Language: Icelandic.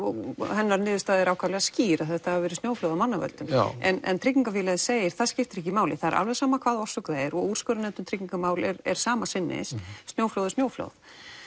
hennar niðurstaða er ákaflega skýr að þetta hafi verið snjóflóð af mannavöldum en tryggingafélagið segir það skiptir ekki máli það er alveg sama hvaða orsök það er og úrskurðarnefnd um tryggingarmál er er sama sinnis snjóflóð er snjóflóð